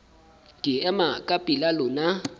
ke ema ka pela lona